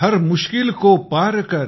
हर मुश्किल को पार कर